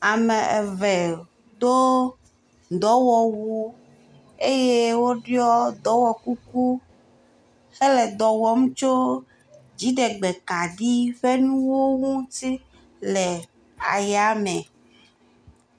Ame eve do dɔwɔwu eye woɖɔ dɔwɔkuku hele dɔ wɔm tso dziɖegbekaɖi ƒe nuwo ŋuti le ayame.